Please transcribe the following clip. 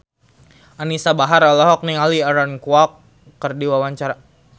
Anisa Bahar olohok ningali Aaron Kwok keur diwawancara